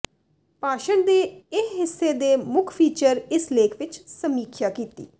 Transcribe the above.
ਭਾਸ਼ਣ ਦੇ ਇਹ ਹਿੱਸੇ ਦੇ ਮੁੱਖ ਫੀਚਰ ਇਸ ਲੇਖ ਵਿਚ ਸਮੀਖਿਆ ਕੀਤੀ